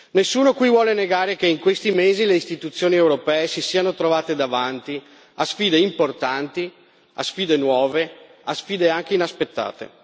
Nessuno qui vuole negare che in questi mesi le istituzioni europee si siano trovate davanti a sfide importanti, a sfide nuove, a sfide anche inaspettate.